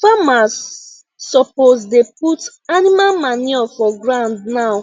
famers suppose dey put animal manure for ground now